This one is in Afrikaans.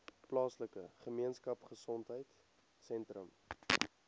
plaaslike gemeenskapgesondheid sentrum